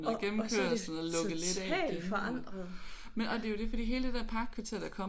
Og og så er det totalt forandret!